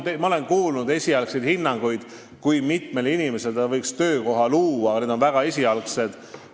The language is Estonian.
Jah, ma olen kuulnud esialgseid hinnanguid, kui mitmele inimesele võiks see tehas töökoha luua, need on väga esialgsed.